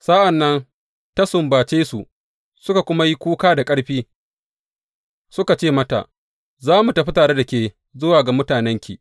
Sa’an nan ta sumbace su suka kuma yi kuka da ƙarfi suka ce mata, Za mu tafi tare da ke zuwa ga mutanenki.